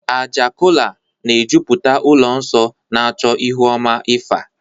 Àjà kọla na-ejupụta ụlọ nsọ, na-achọ ihu ọma Ifa.